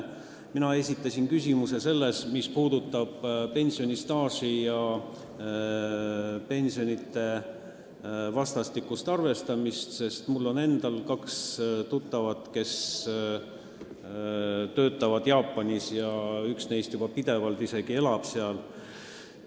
Mina esitasin küsimuse selle kohta, mis puudutab pensionistaaži ja pensionide vastastikust arvestamist, sest mul on endal kaks tuttavat, kes töötavad Jaapanis, ja üks neist elab seal isegi pidevalt.